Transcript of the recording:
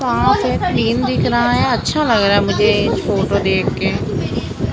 वहां से क्लीन दिख रहा है अच्छा लग रहा है मुझे ये फोटो देख के।